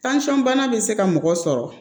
bana bɛ se ka mɔgɔ sɔrɔ